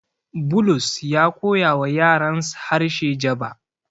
Bulus ya koyawa yarans harshe Jaba.